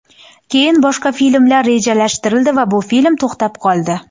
Keyin boshqa filmlar rejalashtirildi va bu film to‘xtab qoldi.